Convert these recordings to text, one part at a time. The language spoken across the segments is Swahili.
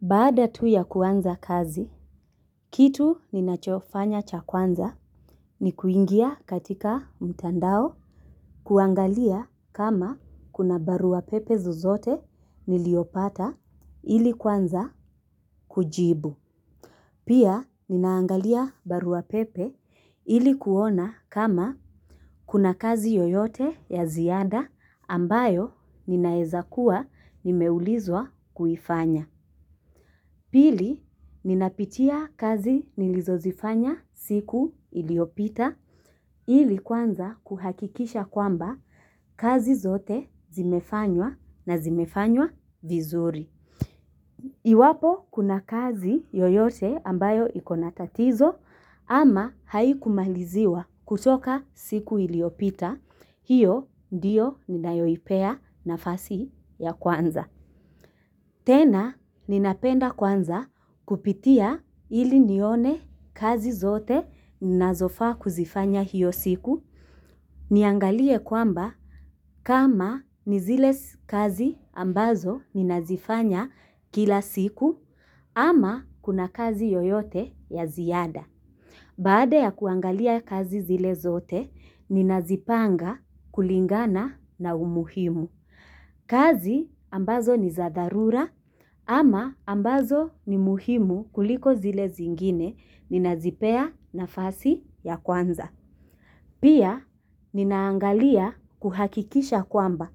Baada tu ya kuanza kazi, kitu ninachofanya cha kwanza ni kuingia katika mtandao kuangalia kama kuna barua pepe zozote nilizopata ili kuanza kujibu. Pia ninaangalia barua pepe ili kuona kama kuna kazi yoyote ya ziada ambayo ninaweza kuwa nimeulizwa kufanya. Pili, ninapitia kazi nilizo zifanya siku iliopita ili kwanza kuhakikisha kwamba kazi zote zimefanywa na zimefanywa vizuri. Iwapo kuna kazi yoyote ambayo iko na tatizo ama haikumaliziwa kutoka siku iliopita, hiyo ndiyo ninayoipea nafasi ya kwanza. Tena, ninapenda kwanza kupitia ili nione kazi zote ninazofaa kuzifanya hiyo siku. Niangalie kwamba kama nizile kazi ambazo ninazifanya kila siku ama kuna kazi yoyote ya ziada. Baade ya kuangalia kazi zile zote, ninazipanga kulingana na umuhimu. Kazi ambazo ni zadharura ama ambazo ni muhimu kuliko zile zingine ninazipea nafasi ya kwanza. Pia ninaangalia kuhakikisha kwamba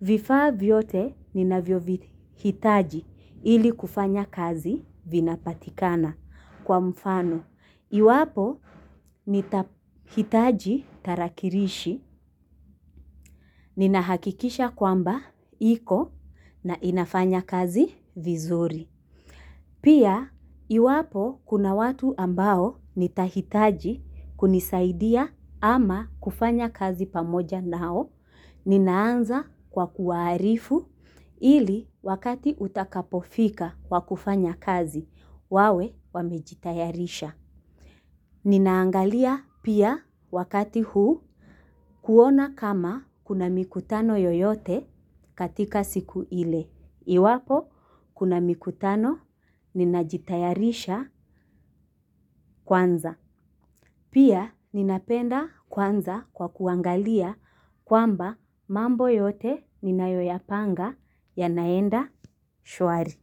vifaa vyote ninavyohitaji ili kufanya kazi vinapatikana kwa mfano. Iwapo nitahitaji tarakilishi, ninahakikisha kwamba iko na inafanya kazi vizuri. Pia, iwapo kuna watu ambao nitahitaji kunisaidia ama kufanya kazi pamoja nao, ninaanza kwa kuwaarifu ili wakati utakapofika wa kufanya kazi, wawe wamejitayarisha. Ninaangalia pia wakati huu kuona kama kuna mikutano yoyote katika siku ile. Iwapo kuna mikutano ninajitayarisha kwanza. Pia ninapenda kuanza kwa kuangalia kwamba mambo yote ninayoyapanga ya naenda shwari.